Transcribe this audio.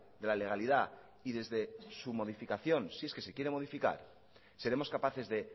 de la legalidad y desde su modificación si es que se quiere modificar seremos capaces de